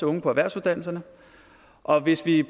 unge på erhvervsuddannelserne og hvis vi